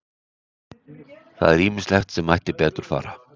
Það er ýmislegt sem mætti betur fara.